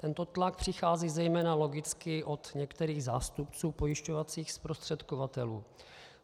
Tento tlak přichází zejména logicky od některých zástupců pojišťovacích zprostředkovatelů.